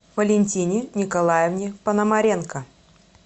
валентине николаевне пономаренко